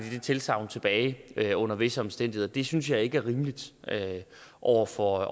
tilsagn tilbage under visse omstændigheder det synes jeg ikke er rimeligt over for